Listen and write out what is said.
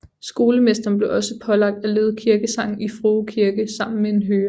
Skolemesteren blev også pålagt at lede kirkesangen i Frue Kirke sammen med en hører